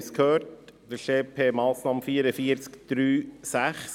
Es geht dabei um die EP-Massnahme 44.3.6.